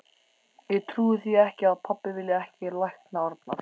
Ég trúi því ekki að pabbi vilji ekki lækna Arnar.